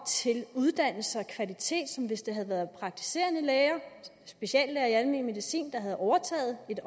til uddannelse og kvalitet som hvis det havde været praktiserende læger speciallæger i almen medicin der havde overtaget et